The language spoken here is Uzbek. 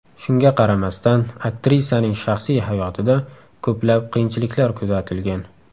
Shunga qaramasdan aktrisaning shaxsiy hayotida ko‘plab qiyinchiliklar kuzatilgan.